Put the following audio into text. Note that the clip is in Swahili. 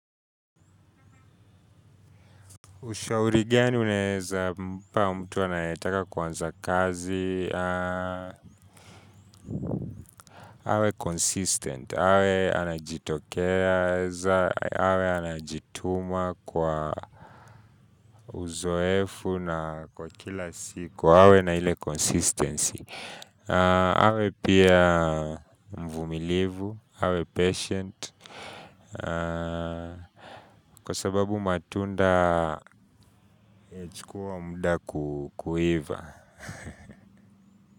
Ushauri gani uneza mpa mtu anayetaka kuanza kazi, awe consistent, awe anajitokeza, awe anajituma kwa uzoefu na kwa kila siku, awe na ile consistency. Awe pia mvumilivu, awe patient, kwa sababu matunda yachukua muda kuiva.